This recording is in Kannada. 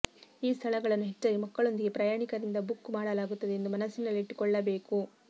ಈ ಸ್ಥಳಗಳನ್ನು ಹೆಚ್ಚಾಗಿ ಮಕ್ಕಳೊಂದಿಗೆ ಪ್ರಯಾಣಿಕರಿಂದ ಬುಕ್ ಮಾಡಲಾಗುತ್ತದೆ ಎಂದು ಮನಸ್ಸಿನಲ್ಲಿಟ್ಟುಕೊಳ್ಳಬೇಕು